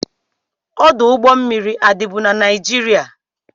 Ọdụ ụgbọ mmiri a dịbu na Naịjirịa?